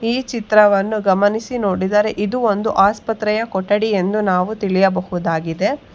ಈ ಚಿತ್ರವನ್ನು ಗಮನಿಸಿ ನೋಡಿದರೆ ಇದು ಒಂದು ಆಸ್ಪತ್ರೆಯ ಕೊಠಡಿ ಎಂದು ನಾವು ತಿಳಿಯಬಹುದಾಗಿದೆ.